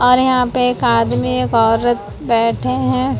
और यहां पे एक आदमी एक औरत बैठे हैं।